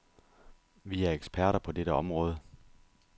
Vi er eksperter på dette område.